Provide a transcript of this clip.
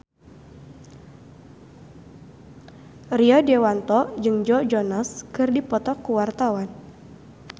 Rio Dewanto jeung Joe Jonas keur dipoto ku wartawan